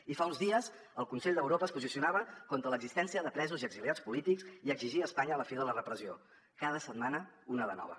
i fa uns dies el consell d’europa es posicionava contra l’exis·tència de presos i exiliats polítics i exigia a espanya la fi de la repressió cada set·mana una de nova